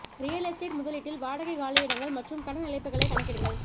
real estate முதலீட்டில் வாடகை காலியிடங்கள் மற்றும் கடன் இழப்புக்களை கணக்கிடுங்கள்